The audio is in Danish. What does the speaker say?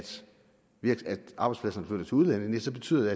arbejdspladserne flytter til udlandet nej så betyder